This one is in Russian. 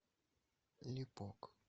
липок